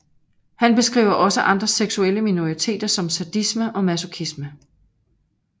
Han beskriver også andre seksuelle minoriteter som sadisme og masochisme